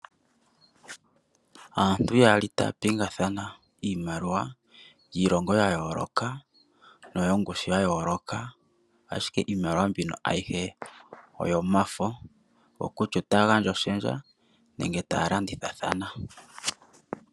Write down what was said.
Aantu yaali taya pingathana iimaliwa yiilongo ya yooloka, no yongushu ya yooloka. Ashike iimaliwa mbino ayihe oyomafo, oko kutya ota gandja iihupe nenge taya landithathana.